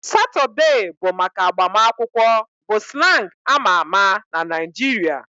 Saturday bụ maka agbamakwụkwọ bụ slang amaa ama na Nigeria